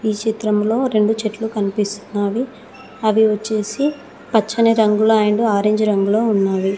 ఈ చిత్రంలో రెండు చెట్లు కనిపిస్తున్నవి అవి వచ్చేసి పచ్చని రంగులు అండ్ ఆరెంజ్ రంగులో ఉన్నాయి.